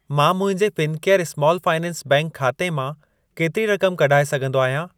मां मुंहिंजे Fincare small finance bank ख़ाते मां केतिरी रक़म कढाए सघंदो आहियां?